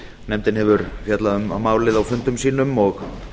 nefndin hefur fjallað um málið og